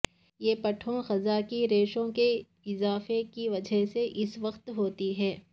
یہ پٹھوں قضاء کہ ریشوں کے اضافہ کی وجہ سے اس وقت ہوتی ہے